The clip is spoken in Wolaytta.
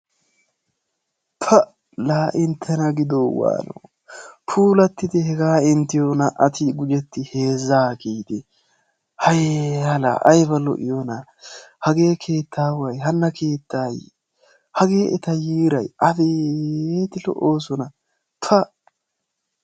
Pa! laa inttena gidoo waanoo? Puulattidi hegaa inttiyo naa"ati gujettin heezzaa kiyidi hayya laa ayiba lo'iyonaa? Hagee keettaaway hanna keettayi hagee eta yiiray? Abeeti lo"oosona pa!